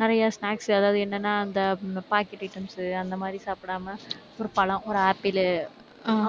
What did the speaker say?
நிறைய snacks அதாவது என்னன்னா அந்த pocket items அந்த மாதிரி சாப்பிடாம, ஒரு பழம், ஒரு apple